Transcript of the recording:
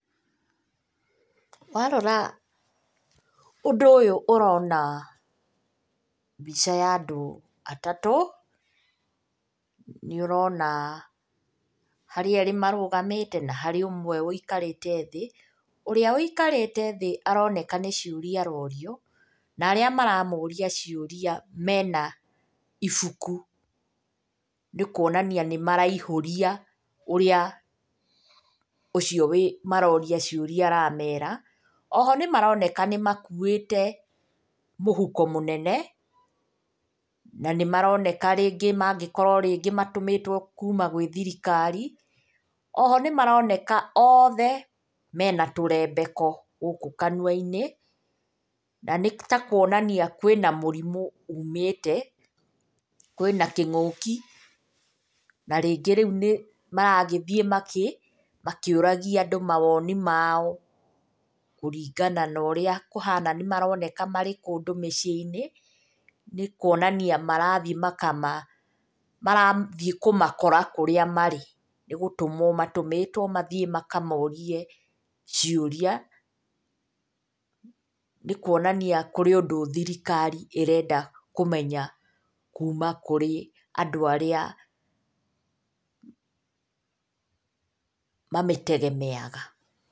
Warora ũndũ ũyũ ũrona mbica ya andũ atatũ. Nĩ ũrona harĩ erĩ marũgamĩte na harĩ ũmwe ũikarĩte thĩ. Ũrĩa ũikarĩte thĩ aroneka nĩ ciũria arorio, na arĩa maramũria ciũria mena ibuku. Nĩ kuonania nĩ maraihũria ũrĩa ũcio maroria ciũria aramera. Oho nĩ maroneka nĩ makuĩte mũhuko mũnene, na nĩmaroneka rĩngĩ mangĩkorwo rĩngĩ matũmĩtwo kuuma gwĩ thirikari. Oho nĩ maroneka othe mena tũrembeko gũkũ kanua-inĩ na nĩ ta kuonania kwĩna mũrimũ uumĩte, kwĩna kĩngũki na rĩngĩ rĩu nĩ maragĩthiĩ makĩũragia andũ mawoni mao. Kũringana na ũrĩa kũhana nĩ maroneka marĩ kũndũ mĩciĩ-inĩ nĩ kuonania marathiĩ kũmakora kũrĩa marĩ, nĩ gũtũmwo matũmĩtwo mathiĩ makamorie ciũria. Nĩ kuonania kũrĩ ũndũ thirikari ĩrenda kũmenya kuuma kũrĩ andũ arĩa wanaitegemea...